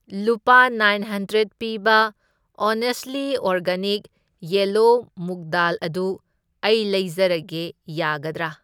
ꯂꯨꯄꯥ nine hundred ꯄꯤꯕ honestly organic yellow ꯃꯨꯛꯗꯥꯜ ꯑꯗꯨ ꯑꯩ ꯂꯩꯖꯔꯒꯦ ꯌꯥꯒꯗ꯭ꯔꯥ?